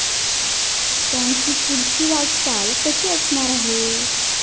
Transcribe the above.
त्यांची पुढची वाटचाल कशी असणार आहे?